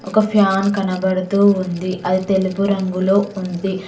ఒక ఫ్యాన్ కనబడుతూ ఉంది అది తెలుపు రంగులొ ఉంది.